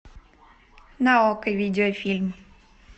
на окко видеофильм